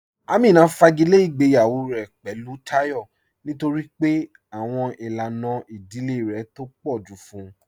Amínà fàgílẹ̀ ìgbèyawọ̀ rẹ̀ pẹ̀lú Táyọ̀ nítorí pé àwọn ilànà ìdílẹ̀ rẹ̀ tó pọ̀ ju fún ụ